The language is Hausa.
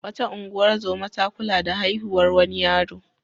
Wata ungozoma ta kula da haihuwar wani yaro.